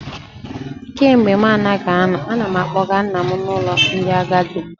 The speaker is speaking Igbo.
Kemgbe mụ anaghị anọ, ana m akpọga nna m n'ụlọ ndị agadi